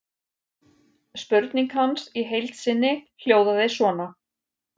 Spurning hans í heild sinni hljóðaði svona: